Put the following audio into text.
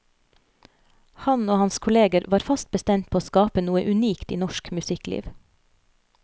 Han og hans kolleger var fast bestemt på å skape noe unikt i norsk musikkliv.